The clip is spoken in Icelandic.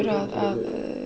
að